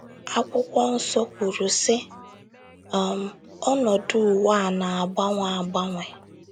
Akwụkwọnsọ kwuru, sị: um “ Ọnọdụ ụwa a na - agbanwe agbanwe. ”